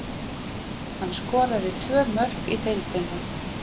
Hann skoraði tvö mörk í deildinni.